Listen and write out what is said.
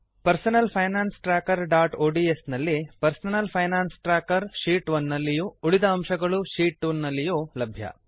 personal finance trackerಒಡಿಎಸ್ ನಲ್ಲಿ personal finance tracker sheet 1 ನಲ್ಲಿಯೂ ಉಳಿದ ಅಂಶಗಳು ಶೀಟ್ 2 ನಲ್ಲಿಯೂ ಲಭ್ಯ